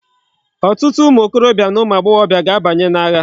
Otutu umu okorobia na umu agboghobia ga abanyi na agha